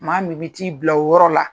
Maa min bɛ t'i bila o yɔrɔ la,